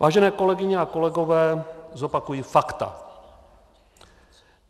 Vážené kolegyně a kolegové, zopakuji fakta.